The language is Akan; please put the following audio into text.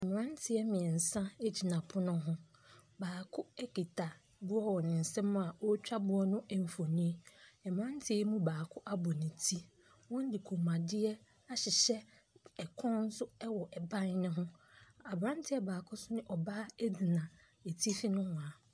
Mmanteɛ mmiɛnsa gyina pono ho. Baako kita boɔ wɔ ne nsa a ɔretwa boɔ no mfoni. Mmranteɛ yi mu baako abɔ ne ti. Wɔde kɔn mu adeɛ ahyehyɛ. Ɛpono nso wɔ ɛban no ho. Abranteɛ nso ne ɔbaa gyina atifi nohwaa.